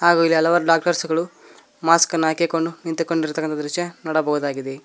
ಹಾಗೂ ಇಲ್ಲಿ ಹಲವಾರು ಡಾಕ್ಟರ್ಸ್ ಗಳು ಮಾಸ್ಕ್ ಅನ್ನು ಹಾಕಿಕೊಂಡು ನಿಂತುಕೊಂಡಿರುವಂತಹ ದೃಶ್ಯ ನೋಡಬಹುದಾಗಿದೆ.